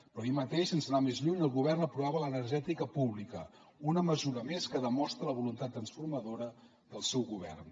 però ahir mateix sense anar més lluny el govern aprovava l’energètica pública una mesura més que demostra la voluntat transformadora del seu govern